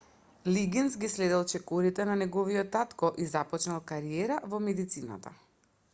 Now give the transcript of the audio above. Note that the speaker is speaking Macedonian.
лигинс ги следел чекорите на неговиот татко и започнал кариера во медицината